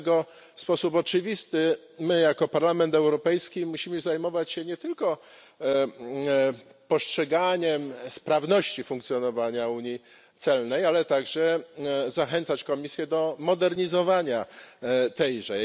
Dlatego w sposób oczywisty my jako Parlament Europejski musimy zajmować się nie tylko postrzeganiem sprawności funkcjonowania Unii celnej, ale także zachęcać Komisję do modernizowania tejże.